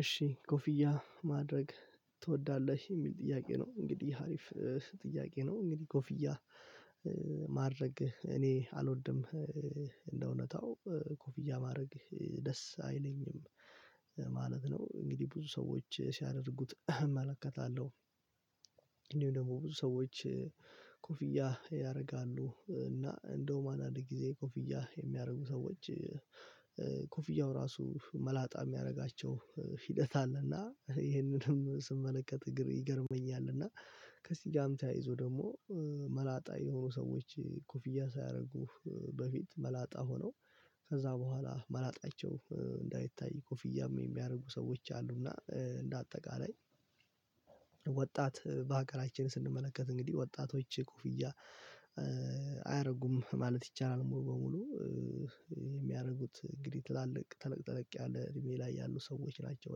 እሺ ኮፊያ ማድረግ ትወዳለህ የሚል ጥያቄ ነው እንግዲህ አሪፍ ጥያቄ ነው እንግዲህ ኮፍያ። ማድረግ እኔ አልወድም እንደ እውነታው ኮፍያ ማድረግ ደስ አይለኝም ማለት ነው። እንግዲህ ብዙ ሰዎች ሲያደርጉት እመለከታለሁ። እንዲሁ ደግሞ ብዙ ሰዎች ኮፍያ ያደርጋሉ እና እንደውም አንድአንድ ጊዜ ኮፍያ የሚያደርጉ ሰዎች። ኮፍያው ራሱ መላጣ የሚያደርጋቸው ሂደት አለና ይሄንንም ስመለከት እግር ይገርመኛል። እና ከሲጋም ተያይዞ ደግሞ መላጣ የሆኑ ሰዎች ኩፍያ ሳያደርጉህ በፊት መላጣ ሆነው ከዛ በኋላ መላጣቸው እንዳይታይ ኮፍያም የሚያደርጉ ሰዎች አሉና እንደ አጠቃላይ። ወጣት በሀገራችን ስንመለከት እንግዲህ ወጣቶች ኮፍያ አያደርጉም ማለት ይቻላል። ሙሉ በሙሉ የሚያደርጉት እንግዲህ ትላልቅ ትልቅ ትልቅ ያለ እድሜ ላይ ያሉ ሰዎች ናቸው።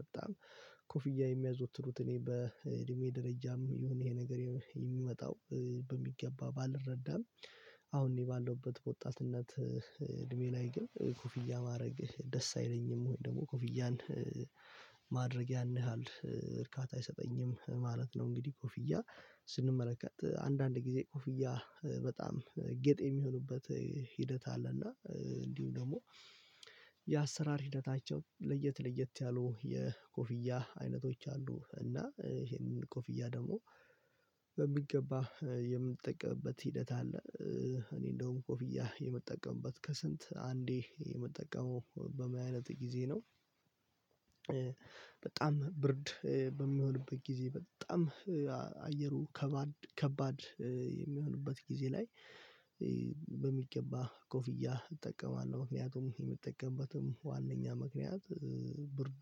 በጣም ኮፍያ የሚያዞትሩት እኔ በእድሜ ደረጃም የሆነ ይሄ ነገር የሚመጣው በሚገባ ባልረዳም። አሁን እኔ ባለውበት በወጣትነት እድሜ ላይ ግን ኩፍያ ማድረግህ ደስ አይለኝም ወይ ደግሞ ኮፊያን ማድረግ ያንህል እርካታ አይሰጠኝም ማለት ነው። እንግዲህ ኮፍያ ስንመለከት አንዳንድ ጊዜ ኮፍያ በጣም ጌጥ የሚሆኑበት ሂደት አለና እንዲሁ ደግሞ። የአሰራር ሂደታቸው ለየት ለየት ያሉ የኮፍያ አይነቶች አሉ እና ይሄንን ኮፍያ ደግሞ በሚገባ የምትጠቀምበት ሂደት አለ። እኔ እንደውም ኮፍያ የምጠቀምበት ከስንት አንዴ የምጠቀመው በማየት ጊዜ ነው። በጣም ብርድ በሚሆንበት ጊዜ በጣም አየሩ ከባድ ከባድ የሚሆንበት ጊዜ ላይ። በሚገባ ኮፍያ እጠቀማለሁ ምክንያቱም የምጠቀምበትም ዋናኛ ምክንያት ብርዱ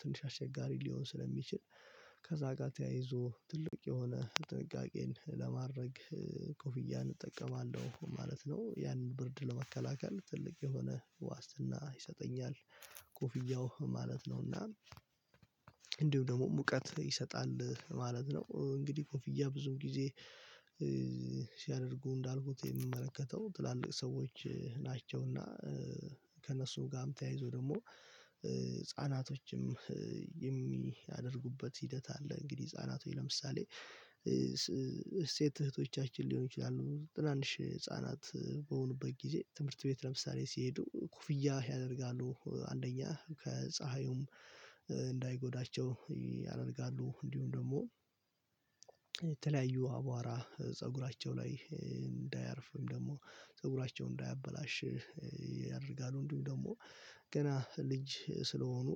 ትንሽ አስቸጋሪ ሊሆን ስለሚችል ከዛ ጋር ተያይዞ ትልቅ የሆነ ጥንቃቄን ለማድረግ ኮፍያ እጠቀማለሁ ማለት ነው። ያንን ብርድ ለመከላከል ትልቅ የሆነ ዋስትና ይሰጠኛል። ኮፍያው ማለት ነውና። እንዲሁ ደግሞ ሙቀት ይሰጣል ማለት ነው። እንግዲህ ኮንፍያ ብዙም ጊዜ ሲያደርጉ እንዳልኩት የምመለከተው ትላልቅ ሰዎች ናቸውና ከእነሱ ጋር ተያይዞ ደግሞ ህፃናቶችም የሚያደርጉበት ሂደት አለ። እንግዲህ ህፃናቶች ለምሳሌ ስቴት እህቶቻችን ሊሆን ይችላሉ ትናንሽ ህፃናት በሆኑበት ጊዜ ትምህርት ቤት ለምሳሌ ሲሄዱ ኩፍያ ያደርጋሉ አንደኛ ፀሀዩም እንዳይጎዳቸው ያደርጋሉ እንዲሁም ደግሞ። የተለያዩ አቧራ ፀጉራቸው ላይ እንዳያርፍም ደግሞ ፀጉራቸውን እንዳያበላሽህ ያደርጋሉ እንዲሁም ደግሞ ገና ልጅ ስለሆኑ።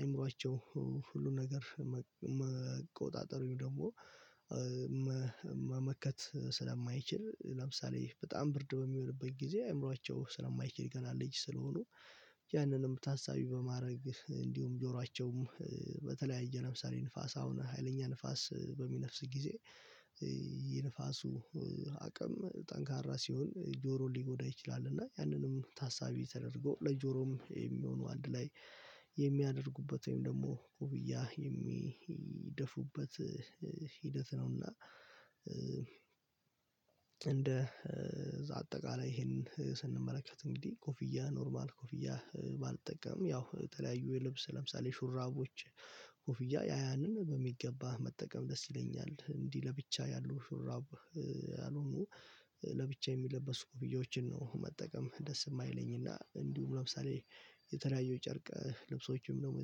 አይምሮአቸው ሁሉን ነገር መቆጣጠሩን ደግሞ መመከት ስለማይችል ለምሳሌ በጣም ብርድ በሚሆንበት ጊዜ አእምሮአቸው ስለማይችል ገና ልጅ ስለሆኑ። ያንንም ታሳቢ በማድረግ እንዲሁም ጆሯቸውም በተለያየ ለምሳሌ ንፋስ አሁን ሀይለኛ ንፋስ በሚነፍስ ጊዜ የንፋሱ አቅም ጠንካራ ሲሆን ጆሮ ሊጎዳ ይችላል። እና ያንንም ታሳቢ ተደርጎ ለጆሮም የሚሆኑ አንድ ላይ የሚያደርጉበት ወይም ደግሞ ኮፍያ የሚደፉበት ሂደት ነውና። እንደ እዛ አጠቃላይ ይሄንን ስንመለከት እንግዲህ ኮፍያ ኖርማል ኮፍያ ባልጠቀም ያው ተለያዩ የልብስ ለምሳሌ ሹራቦች። ኮፍያ ያያንን በሚገባ መጠቀም ደስ ይለኛል እንዲህ ለብቻ ያለው ሹራብ። ያልሆኑ ለብቻ የሚለበስ ኮፍዬያዎችን ነው መጠቀም ደስ የማይለኝ። እና እንዲሁም ለምሳሌ የተለያዩ ጨርቅ ልብሶችም ደግሞ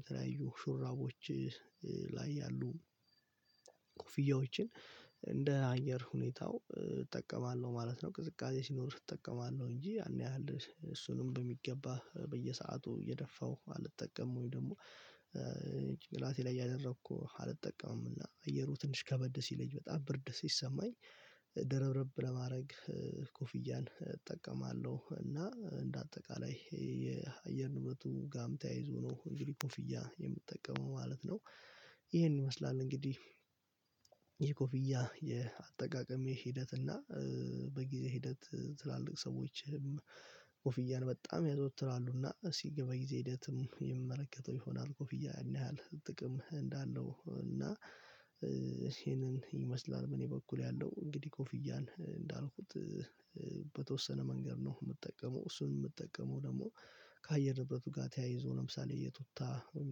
የተለያዩ ሹራቦች ላይ ያሉ ኮፍያዎችን እንደ አየር ሁኔታው እጠቀማለሁ ማለት ነው። ቅዝቃዜ ሲኖር እጠቀማለሁ እንጂ ያን ያህል እሱንም በሚገባ በየሰአቱ እየደፋሁ አልጠቀምም ወይ ደግሞ። ጭቅላቴ ላይ ያደረኩ አልጠቀምምና አየሩ ትንሽ ከበደ ሲለኝ በጣም ብርድ ሲሰማኝ ደረብረብ ለማድረግ ኮፍያን እጠቀማለሁ እና እንደ አጠቃላይ ይሄ የአየር እምነቱ ጋም ተያይዞ ነው እንግዲህ ኮፍያ የምጠቀመው ማለት ነው። ይሄን ይመስላል እንግዲህ። ይሄ ኮፍያ የአጠቃቀሜ ሂደት እና በጊዜ ሂደት ትላልቅ ሰዎችም ኮፍያን በጣም ያዘውትራሉ እና እስቲ በጊዜ ሂደትም የሚመለከተው ይሆናል። ኮፍያ ያህል ጥቅም እንዳለው እና። ይመስላል በእኔ በኩል ያለው እንግዲህ ኮፍያን እንዳልኩት። በተወሰነ መንገድ ነው የምጠቀመው። እሱን የምጠቀመው ደግሞ ከአየር ንብረቱ ጋር ተያይዞ ለምሳሌ የቱታ ወይም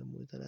ደግሞ የተለያየ